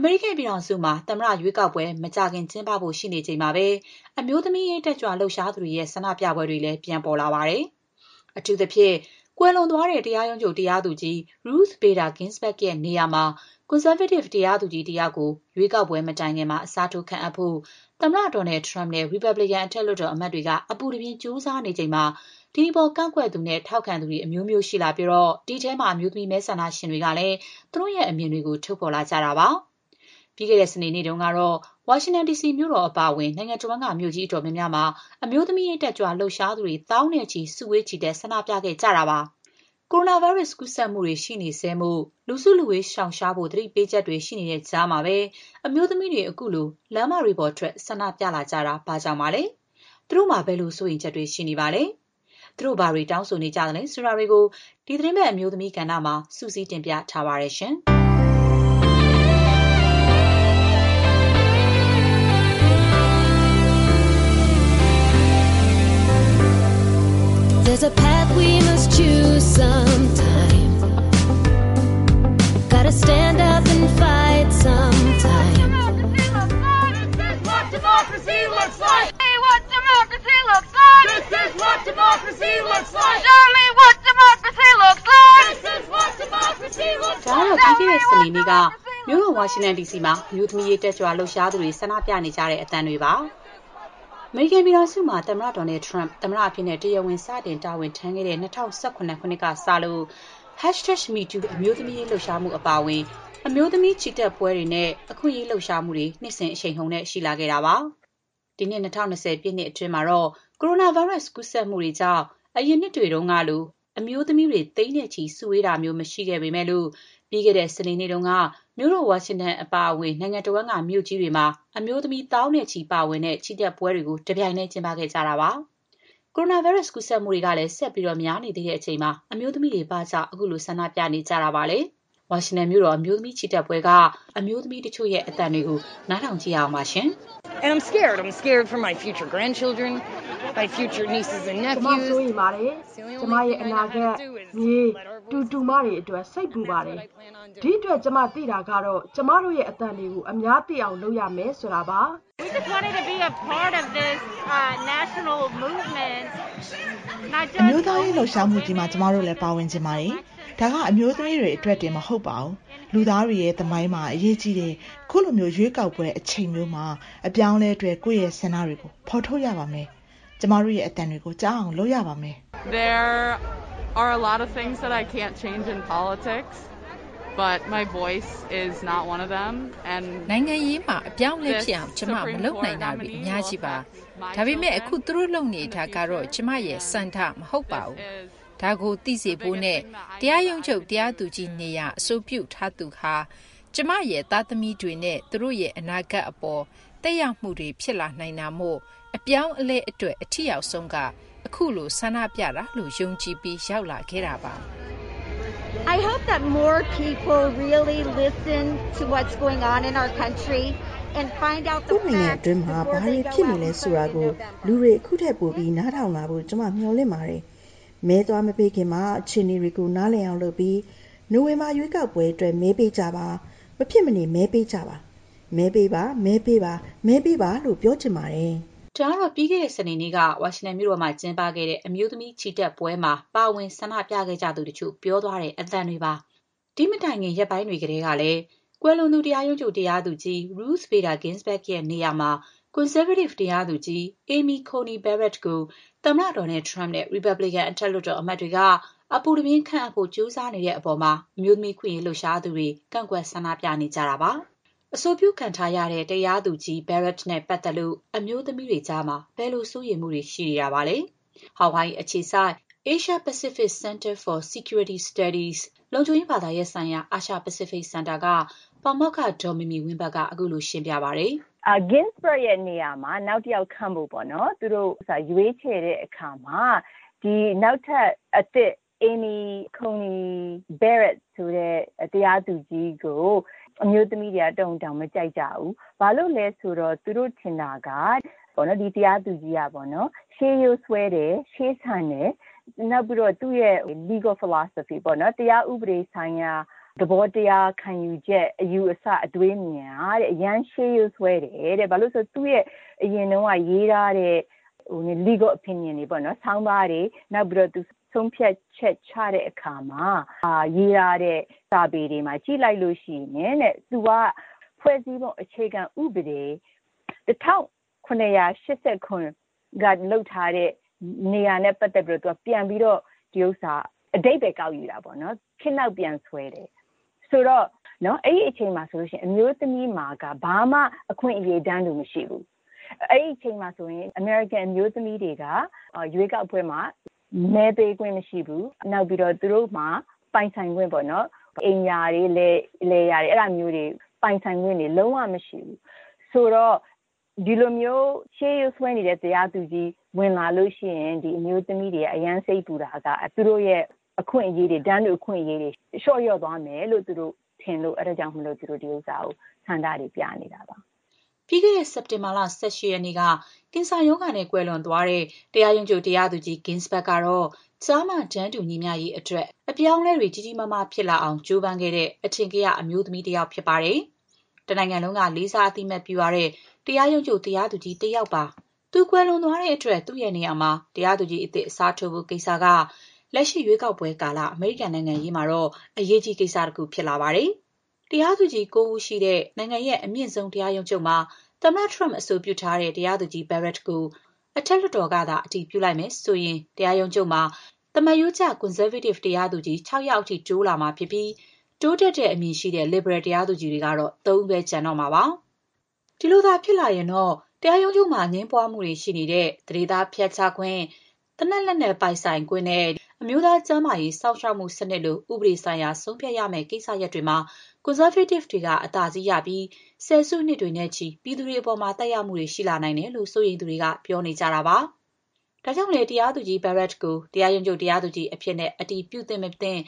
အမေရိကန်ပြည်ထောင်စုမှာ သမ္မတ ရွေးကောက်ပွဲ မကြာခင် ကျင်းပဖို့ ရှိနေချိန်မှာပဲ အမျိုးသမီးရေး တက်ကြွလှုပ်ရှားသူတွေရဲ့ ဆန္ဒပြပွဲတွေလည်း ပြန်ပေါ်လာပါတယ်။ အထူးသဖြင့် ကွယ်လွန်သွားတဲ့ တရားရုံးချုပ် တရားသူကြီး Ruth Bader Ginsburg ရဲ့ နေရာမှာ ကွန်ဆာဗေးတစ် တရားသူကြီးတယောက်ကို ရွေးကောက်ပွဲမတိုင်ခင် အစားထိုး ခန့်အပ်နိုင်ဖို့ သမ္မတ Donald Trump နဲ့ ရီပတ်ဘလစ်ကန် အထက်လွှတ်တော်အမတ်တွေက အပူတပြင်း ကြိုးစားနေချိန်မှာ ဒီအပေါ် ကန့်ကွက်သူနဲ့ ထောက်ခံသူ အမျိုးမျိုးရှိလာခဲ့ပြီး ဒီအထဲမှာ အမျိုးသမီး မဲဆန္ဒရှင်တွေကလည်း သူတို့ရဲ့အမြင်တွေကို ထုတ်ဖော်လာကြတာပါ။ ပြီးခဲ့တဲ့ စနေနေ့တုန်းကတော့ ဝါရှင်တန်ဒီစီ မြို့တော် အပါအဝင် နိုင်ငံတဝှမ်းက မြို့ကြီး အတော်များများမှာ အမျိုးသမီးရေး တက်ကြွလှုပ်ရှားသူတွေ သောင်းနဲ့ချီ စုဝေး ချီတက် ဆန္ဒပြခဲ့ကြပါတယ်။ ကိုရိုနာဗိုင်းရပ် ကူးစက်မှုတွေ ရှိနေဆဲမို့ လူစုလူဝေး ရှောင်ရှားဖို့ သတိပေးချက်တွေ ရှိနေတဲ့ကြားမှာပဲ အမျိုးသမီးတွေ ခုလို လမ်းပေါ်ထွက် စုဝေး ဆန္ဒပြလာတာ ဘာကြောင့်ပါလဲ။ သူတို့မှာ ဘယ်လို စိုးရိမ်ချက်တွေ ရှိနေပါလဲ။ သူတို့ဘာတွေ တောင်းဆိုနေကြသလဲ ဆိုတာတွေကို ဒီသီတင်းပတ် အမျိုးသမီးကဏ္ဍမှာ မခင်ဖြူထွေးက စုစည်းတင်ပြထားပါတယ်။ ဒါကတော့ ပြီးခဲ့တဲ့ စနေနေ့က မြို့တော် ဝါရှင်တန်ဒီစီမှာ အမျိုးသမီးရေး တက်ကြွလှုပ်ရှားသူတွေ ဆန္ဒပြနေကြတဲ့ အသံတွေပါ။ အမေရိကန်ပြည်ထောင်စုမှာ သမ္မတ Donald Trump သမ္မတအဖြစ် တရားဝင် စတင်တာဝန်ထမ်းဆောင်ခဲ့တဲ့ ၂၀၁၇ ခုနှစ်ကစလို့ #metoo အမျိုးသမီးရေး လှုပ်ရှားမှု အပါအဝင် အမျိုးသမီး ချီတက်ပွဲတွေနဲ့ အခွင့်အရေး လှုပ်ရှားမှုတွေ နှစ်စဉ် အရှိန်အဟုန်နဲ့ ရှိလာခဲ့ပါတယ်။ ဒီနှစ် ၂၀၂၀ ပြည့်နှစ်အတွင်းမှာတော့ ကိုရိုနာဗိုင်းရပ်စ် ကူးစက်မှုတွေကြောင့် အရင်နှစ်တွေကလို အမျိုးသမီးတွေ သိန်းနဲ့ချီ စုဝေးတာတွေ မရှိခဲ့ပေမဲ့လို့ ပြီးခဲ့တဲ့ စနေနေ့တုန်းကတော့ မြို့တော် ဝါရှင်တန်အပါအဝင် နိုင်ငံတဝှမ်းက မြို့ကြီးတွေမှာ အမျိုးသမီးတွေ သောင်းနဲ့ချီ ပါဝင်တဲ့ ချီတက်ပွဲတွေ တပြိုင်တည်း ကျင်းပခဲ့ကြတာပါ။ ရွေးကောက်ပွဲ ကျင်းပဖို့ နီးကပ်လာချိန်၊ ကိုရိုနာဗိုင်းရပ်စ် ကူးစက်မှုတွေကလည်း ဆက်ပြီး များနေသေးတဲ့အချိန်မှာ အမျိုးသမီးတွေ ဘာကြောင့် ခုလို ဆန္ဒပြနေကြတာပါလဲ။ ဝါရှင်တန်မြို့တော် အမျိုးသမီးချီတက်ပွဲက အမျိုးသမီး တချို့ရဲ့ အသံတွေကို နားထောင်ကြည့်ရအောင်ပါ။ “ကျမ စိုးရိမ်ပါတယ်။ ကျမရဲ့ အနာဂတ် မြေး၊ တူ တူမတွေ အတွက် စိတ်ပူပါတယ်။ ဒီအတွက် ကျမ သိတာကတော့ ကျမတို့ရဲ့အသံတွေကို အများသိအောင် လုပ်ရမယ် ဆိုတာပါ။" "ခုလို အမျိုးသားရေးလှုပ်ရှားမှုကြီးမှာ ကျမတို့လည်း ပါဝင်ချင်ပါတယ်။ ဒါက အမျိုးသမီးတွေအတွက်တင် မဟုတ်ပါဘူး။ လူသားတွေရဲ့သမိုင်းမှာ အရေးကြီးတဲ့ ခုလို ရွေးကောက်ပွဲအချိန်မျိုးမှာ အပြောင်းအလဲ အတွက် ကိုယ့်ရဲ့ ဆန္ဒတွေကို ဖော်ထုတ်ရပါမယ်။ ကျမတို့ရဲ့ အသံတွေကို ကြားအောင် လုပ်ရပါမယ်။” "နိုင်ငံရေးမှာ အပြောင်းအလဲ ဖြစ်အောင် ကျမ မ လုပ်နိုင်တာတွေ အများကြီးပါ။ ဒါပေမဲ့ အခု သူတို့ လုပ်နေတာကတော့ ကျမရဲ့ဆန္ဒ မဟုတ်ပါဘူး။ ဒါကို သိစေဖို့နဲ့ တရားရုံးချုပ် တရားသူကြီးနေရာ အဆိုပြုထားသူဟာ ကျမရဲ့ သားသမီးတွေနဲ့ သူတို့ရဲ့ အနာဂတ်အပေါ် သက်ရောက်မှုတွေ ဖြစ်လာနိုင်တာမို့၊ အပြောင်းအလဲ အတွက် အထိရောက်ဆုံးက ခုလို ဆန္ဒပြတာလို့ ယုံကြည်ပြီး ရောက်လာခဲ့တာပါ။” “ကိုယ့်နိုင်ငံတွင်းမှာ ဘာတွေဖြစ်နေလဲ ဆိုတာကို လူတွေ အခုထက် ပိုပြီး နားထောင်လာဖို့ ကျမ မေ ျှာ်လင့်ပါတယ်။ မဲသွား မပေးခင်မှာ အခြေအနေတွေကို နားလည်အောင် လုပ်ပြီး နိုဝင်ဘာ ရွေးကောက်ပွဲအတွက် မဲပေးကြပါ။ မဖြစ်မနေ မဲပေးကြပါ။ မဲပေးပါ မဲပေးပါ မဲပေးပါလို့ ပြောချင်ပါတယ်။” ဒါကတော့ ပြီးခဲ့တဲ့ စနေနေ့က ဝါရှင်တန်မြို့တော်မှာ ကျင်းပခဲ့တဲ့ အမျိုးသမီးချီတက်ပွဲမှာ ပါဝင်ဆန္ဒပြသူတချို့ ပြောသွားတဲ့ အသံတွေပါ။ ဒီ့မတိုင်ခင် ရက်ပိုင်းတွေကတည်းကလည်း ကွယ်လွန်သူ တရားရုံးချုပ် တရားသူကြီး Ruth Bader Ginsburg နေရာမှာ ကွန်ဆားဗေးတစ် တရားသူကြီး Amy Coney Barrett ကို သမ္မတ Donald Trump နဲ့ ရီပတ်ဘလစ်ကန် အထက်လွှတ်တော် အမတ်တွေ အပူတပြင်း ခန့်အပ်ဖို့ ကြိုးစားနေတဲ့အပေါ် အမျိုးသမီး အခွင့်အရေး လှုပ်ရှားသူတွေ ကန့်ကွက် ဆန္ဒပြနေကြတာပါ။ အဆိုပြုခံထားရတဲ့ တရားသူကြီး Barrett နဲ့ ပတ်သက်လို့ အမျိုးသမီးတွေကြားမှာ ဘယ်လို စိုးရိမ်မှုတွေ ရှိနေတာပါလဲ။ ဟာဝိုင်အီအခြေစိုက် Asia-Pacific Center for Security Studies လုံခြုံရေးဘာသာရပ်ဆိုင်ရာ အာရှ-ပစိဖိတ်စင်တာက ပါမောက္ခ ဒေါ်မီမီဝင်းဘတ်က ခုလိုရှင်းပြပါတယ်။ “Ginsburg ရဲ့ နေရာမှာ နောက်တယောက်ခန့်ဖို့ သူတို့ ရွေးချယ်တဲ့အခါမှာ နောက်ထပ် အသစ် Amy Coney Barrett ဆိုတဲ့ တရားသူကြီးကို အခု အမျိုးသမီးတွေက တော်ရုံတန်ရုံ မကြိုက်ကြဘူး။ ဘာလို့လဲဆိုတော့ သူတို့ထင်တာက ဒီတရားသူကြီးကပေါ့နော်။ ရှေးရိုးစွဲတယ်။ ရှေးဆန်တယ်။ နောက်ပြီးတော့ သူ့ရဲ့ legal philosophy ပေါ့နော်။ တရားဥပဒေဆိုင်ရာ သဘောတရား ခံယူချက်၊ အယူအဆ၊ အတွေးအမြင်တွေဟာ အရမ်း ရှေးရိုးစွဲတယ်တဲ့။ ဘာလို့လဲဆိုတော့ သူ့ရဲ့ အရင်တုန်းက ရေးထားတဲ့ legal opinion တွေပေါ့နော်။ ဆောင်းပါးတွေ၊ နောက်ပြီးတော့ ဆုံးဖြတ်ချက် ချတဲ့အခါမှာ ရေးထားတဲ့ စာပေတွေကို ကြည့်လိုက်လို့ရှိရင် သူက ဖွဲ့စည်းပုံ အခြေခံဥပဒေကို ၁၇၈၇ ခုနှစ် အချိန်ကလို ဒီဥစ္စာကို ပြန်ပြီးတော့ အဓိပ္ပါယ် ကောက်ယူတာပေါ့နော်။ ခေတ်နောက်ပြန်ဆွဲတယ်။ ဆိုတော့ အဲ့ဒီအချိန်မှာဆိုရင် အမျိုးသမီးတွေမှာက ဘာမှ အခွင့်အရေး တန်းတူ မရှိဘူး။ အဲ့ဒီအချိန်မှာဆိုရင် အမေရိကန်အမျိုးသမီးတွေက ရွေးကောက်ပွဲမှာ မဲပေးခွင့် မရှိဘူး။ နောက်ပြီးတော့ သူတို့မှာ အိမ်ယာတွေ လယ်တွေ ပိုင်ဆိုင်ခွင့်တွေ လုံး၀ မရှိဘူး။ ဆိုတော့ ဒီလိုမျိုး ရှေးရိုးစွဲနေတဲ့ တရားသူကြီး ဝင်လာလို့ရှိရင် အမျိုးသမီးတွေက စိတ်ပူတာက သူတို့ရဲ့ အခွင့်အရေးတွေ၊ တန်းတူ အခွင့်အရေးတွေ လျော့ကျ သွားမယ်လို့ ထင်လို့ သူတို့ ဆန္ဒတွေ ပြနေတာပါ။” ပြီးခဲ့တဲ့စက်တင်ဘာလ ၁၈ ရက်နေ့က ကင်ဆာရောဂါနဲ့ ကွယ်လွန်သွားတဲ့ တရားရုံးချုပ် တရားသူကြီး Ginsburg ကတော့ ကျား မ တန်းတူညီမ ျှရေးအတွက် အပြောင်းအလဲတွေ ဖြစ်လာအောင် ကြိုးပမ်းခဲ့တဲ့ အထင်ကရ အမျိုးသမီးတယောက်ဖြစ်ပါတယ်။ တနိုင်ငံလုံးက လေးစားအသိအမှတ်ပြု ရတဲ့ တရားရုံးချုပ် တရားသူကြီးတယောက်ပါ။ သူ ကွယ်လွန်သွားတဲ့အတွက် သူ့နေရာမှာ တရားသူကြီးသစ် အစားထိုးဖို့ကိစ္စက လက်ရှိ ရွေးကောက်ပွဲကာလ အမေရိကန်နိုင်ငံရေးမှာတော့ အရေးကြီး ကိစ္စတခုဖြစ်လာပါတယ်။ တရားသူကြီး ၉ ဦးရှိတဲ့ နိုင်ငံရဲ့အမြင့်ဆုံး တရားရုံးချုပ်မှာ တရားသူကြီး Barrett ကို အထက်လွှတ်တော်ကသာ အတည်ပြုလိုက်မယ်ဆိုရင် တရားရုံးချုပ်မှာ သမာရိုးကျ ကွန်ဆာဗေးတစ် တရားသူကြီး ၆ ယောက်အထိ တိုးလာမှာဖြစ်ပြီး တိုးတက်တဲ့အမြင်ရှိတဲ့ လစ်ဘရယ် တရားသူကြီးကတော့ ၃ ဦးပဲ ကျန်တော့မှာပါ။ ဒီလိုသာဖြစ်လာရင် တရားရုံးချုပ်မှာ အငြင်းပွားမှုတွေ ရှိနေတဲ့ သန္ဓေသား ဖျက်ချခွင့်၊ သေနတ်လက်နက် ပိုင်ဆိုင်ခွင့်နဲ့ အမျိုးသား ကျန်းမာရေး စောင့်ရှောက်မှုစနစ်လို ဥပဒေဆေိုင်ရာ ဆုံးဖြတ်ရမယ့်ကိစ္စရပ်တွေမှာ ကွန်ဆာဗေးတစ်တွေက အသာစီးရပြီး ဆယ်စုနှစ်တွေနဲ့ချီ ပြည်သူတွေအပေါ် သက်ရောက်မှုတွေ ရှိလာနိုင်တယ်လို့ စိုးရိမ်သူတွေက ပြောနေကြတာပါ။ ဒါကြောင့်လဲ တရားသူကြီး Barrett ကို တရားရုံးချုပ် တရားသူကြီးအဖြစ် အတည်ပြုသင့်မသင့်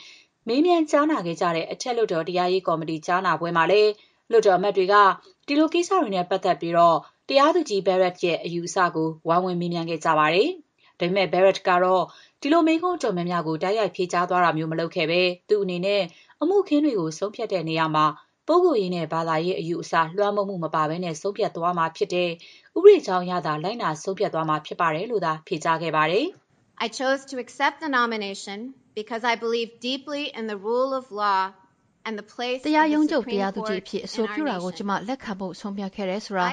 မေးမြန်းကြားနာခဲ့ကြတဲ့ အထက်လွှတ်တော် တရားရေး ကော်မတီ ကြားနာပွဲမှာလည်း လွှတ်တော်အမတ်တွေက ဒီလိုကိစ္စတွေနဲ့ပတ်သက်ပြီး တရားသူကြီး Barrett ရဲ့ အယူအဆကို ဝိုင်းဝန်းမေးမြန်းခဲ့ကြပါတယ်။ ဒါပေမဲ့ Barrett ကတော့ ဒီလို မေးခွန်း အတော်များများကို တိုက်ရိုက် ဖြေကြားတာမျိုး မလုပ်ခဲ့ဘဲ သူ့အနေနဲ့ အမှုအခင်းတွေကို ဆုံးဖြတ်တဲ့နေရာမှာ ပုဂ္ဂိုလ်ရေးနဲ့ ဘာသာရေး အယူအဆ လွှမ်းမိုးမှုမပါဘဲ ဆုံးဖြတ်သွားမှာဖြစ်တယ်၊ ဥပဒေကြောင်းအရသာ လိုက်နာ ဆုံးဖြတ်သွားမှာဖြစ်တယ်လို့သာ ဖြေကြားခဲ့ပါတယ်။ “တရားရုံးချုပ် တရားသူကြီးအဖြစ် အဆိုပြုတာကို ကျမ လက်ခံဖို့ ဆုံးဖြတ်ခဲ့တယ်ဆိုတာ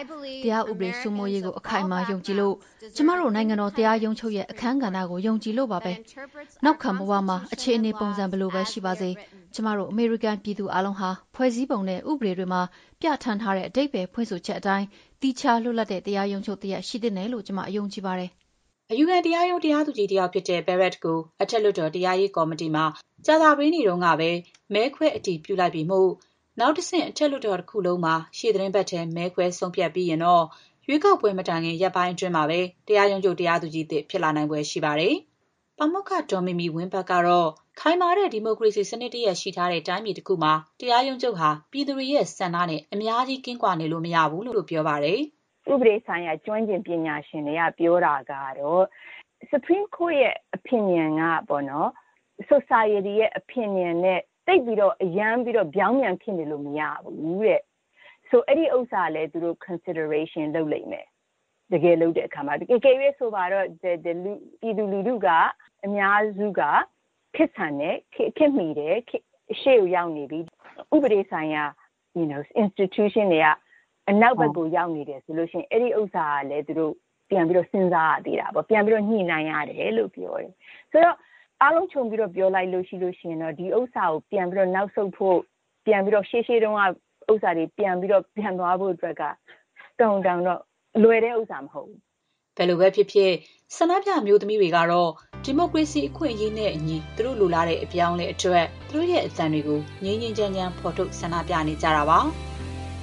တရားဥပဒေစိုးမိုးရေးကို အခိုင်အမာ ယုံကြည်လို့၊ ကျမတို့ နိုင်ငံတော် တရားရုံးချုပ်ရဲ့ အခန်းကဏ္ဍကို ယုံကြည်လို့ပါပဲ။ နောက်ခံဘ၀ အခြေအနေ ပုံစံဘယ်လိုပဲရှိပါစေ ကျမတို့ အမေရိကန်ပြည်သူအားလုံးဟာ ဖွဲ့စည်းအုပ်ချုပ်ပုံနဲ့ ဥပဒေတွေမှာ ပြဌာန်းထားတဲ့ အဓိပ္ပါယ်ဖွင့်ဆိုချက်အတိုင်း သီးခြားလွတ်လပ်တဲ့ တရားရုံးချုပ်တရပ် ရှိသင့်တယ်လို့ ကျမ ယုံကြည်ပါတယ်။'' အယူခံတရားရုံး တရားသူကြီးတဦးဖြစ်တဲ့ Barrett ကို အထက်လွှတ်တော် တရားရေးကော်မတီမှာ ကြာသပတေးနေ့တုန်းကပဲ မဲခွဲအတည်ပြုလိုက်ပြီမို့၊ နောက်တဆင့် အထက်လွှတ်တော် တခုလုံးမှာ ရှေ့သီတင်းပတ်ထဲ မဲခွဲဆုံးဖြတ်ပြီးရင်တော့ ရွေးကောက်ပွဲ မတိုင်ခင် ရက်ပိုင်းအတွင်းမှာပဲ တရားရုံးချုပ် တရားသူကြီးသစ် ဖြစ်လာနိုင်ဖွယ် ရှိပါတယ်။ ပါမောက္ခ ဒေါ်မီမီဝင်းဘတ် ကတော့ ခိုင်မာတဲ့ ဒီမိုကရေစီစနစ်တရပ်ရှိထားတဲ့ တိုင်းပြည်တခုမှာ တရားရုံးချုပ်ဟာ ပြည်သူတွေရဲ့ ဆန္ဒနဲ့ အများကြီး ကင်းကွာနေလို့ မရဘူးလို့လည်း ဒေါ်မီမီဝင်းဘတ်က ပြောပါတယ်။ “ဥပဒေဆိုင်ရာ ကျွမ်းကျင်ပညာရှင်တွေက ပြောတာကတော့ Supreme Court ရဲ့ opinion က Society ရဲ့ opinion (လူမှုအသိုင်းအဝိုင်းရဲ့ အမြင်၊ အယူအဆ) နဲ့ သိပ်ပြီး အများကြီး ပြောင်းပြန်ဖြစ်နေလို့ မရဘူးတဲ့။ အဲ့ဒီဥစ္စာကလည်း သူတို့ စဉ်းစားလိမ့်မယ်။ တကယ် ဆုံးဖြတ်လုပ်ဆောင်ကြတဲ့အခါမှာပေါ့။ အကယ်၍ ဆိုပါတော့ ပြည်သူလူထု အများစုက ခေတ်ဆန်တယ်။ ခေတ်မီတယ်။ ခေတ်ရှေ့ကို ရောက်နေပြီ။ ဥပဒေဆိုင်ရာ အဖွဲ့အစည်းတွေက နောက်ကိုရောက်နေတယ်ဆိုရင် အဲ့ဒီဥစ္စာကလည်း သူတို့ ပြန်ပြီးတော့ စဉ်းစားရသေးတာပေါ့။ ပြန်ပြီးတော့ ညှိနှိုင်းရတယ်လို့ ပြောတယ်။ ဆိုတော့ အားလုံး ခြုံပြီးတော့ ပြောလိုက်လို့ရှိရင်တော့ ဒါကို ပြန်ပြီးတော့ နောက်ဆုတ်ဖို့၊ ရှေးရှေးတုန်းကလို ပြန်သွားဖို့အတွက်က တော်ရုံတန်ရုံတော့ လွယ်တဲ့ဥစ္စာ မဟုတ်ပါဘူး။” ဘယ်လိုပဲဖြစ်ဖြစ် ဆန္ဒပြ အမျိုးသမီးတွေကတော့ ဒီမိုကရေစီ အခွင့်အရေးနဲ့အညီ သူတို့လိုလားတဲ့ အပြောင်းအလဲအတွက် သူတို့ရဲ့ အသံတွေကို ငြိမ်းငြိမ်းချမ်းချမ်း ဖော်ထုတ် ဆန္ဒပြနေကြတာဖြစ်ပါတယ်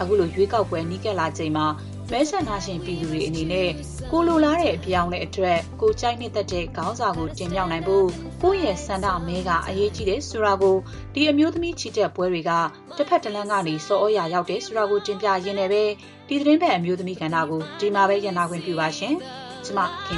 ။ ခုလို ရွေးကောက်ပွဲ နီးလာနေချိန်မှာ မဲဆန္ဒရှင်ပြည်သူတွေ အနေနဲ့ ကိုယ်လိုလားတဲ့ အပြောင်းအလဲအတွက် ကိုယ်ကြိုက်နှစ်သက်တဲ့ ခေါင်းဆောင်ကို တင်မြှောက်နိုင်ဖို့၊ ကိုယ့်ရဲ့ဆန္ဒမဲက အရေးကြီးတယ်ဆိုတာကို ဒီအမျိုးသမီးချီတက်ပွဲတွေက တဘက်တလမ်းကနေ ဆော်သြရာ ရောက်တယ်ဆိုတာ တင်ပြရင်းနဲ့ပဲ ဒီသီတင်းပတ် အမျိုးသမီးကဏ္ဍကို ဒီမှာပဲရပ်နားခွင့် ပြုပါရှင်။ ကျမ ခင်